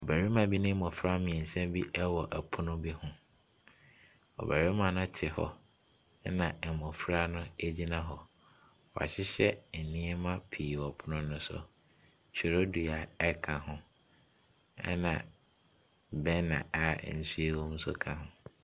Barima bi ne mmɔfra mmiɛnsa bi ɛwɔ ɛpono bi ho. Ɔbɛrima no te hɔ ɛna mmɔfra no gyina hɔ. W'ahyehyɛ nnoɔma pii wɔ pono no so; twerɛdua ɛka ho ɛna burner a nsuo ewɔ mu nso ka ho.